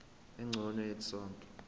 engcono yethu sonke